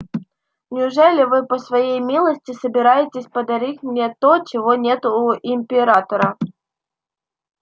неужели вы по своей милости собираетесь подарить мне то чего нет у императора